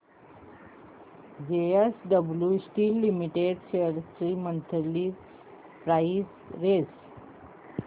JSW steel limited shares ची monthly price range